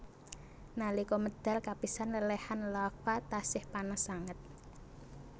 Nalika medal kapisan lèlèhan lava tasih panas sanget